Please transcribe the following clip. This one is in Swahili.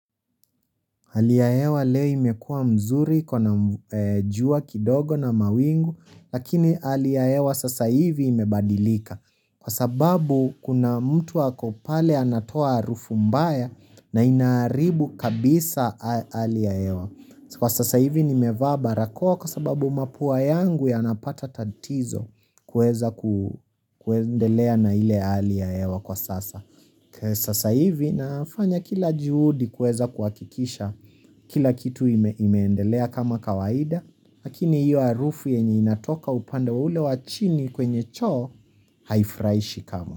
Ali ya hewa leo imekua mzuri kuna jua kidogo na mawingu, lakini ali ya hewa sasa hivi imebadilika. Kwa sababu kuna mtu ako pale anatoa harufu mbaya na inaaribu kabisa ali ya hewa. Kwa sasa hivi nimevaabarakoa kwa sababu mapua yangu yanapata tatizo kuweza ku kuendelea na ile hali ya hewa kwa sasa. Sasa hivi nafanya kila juhudi kuweza kuhakikisha kila kitu ime imeendelea kama kawaida lakini hiyo harufu yenye inatoka upande ule wa chini kwenye choo haifurahishi kamwe.